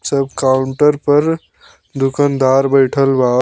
सब काउंटर पर दुकनदार बइठल बा।